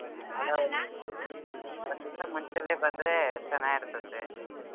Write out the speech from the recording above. ಒಂದ್ ದಿವ್ಸ ಮುಂಚೆನೆ ಬಂದ್ರೆ ಚೆನಾಗಿರತೈತೆ.